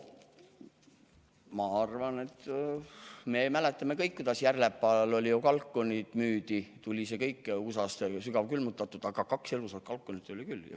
Ma arvan, et me mäletame kõik, kuidas Järlepal kalkuneid müüdi: kõik tuli USA-st sügavkülmutatult, aga kaks elusat kalkunit oli ka.